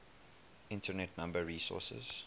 internet number resources